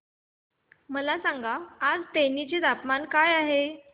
मला सांगा आज तेनी चे तापमान काय आहे